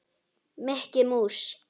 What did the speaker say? Mikki mús.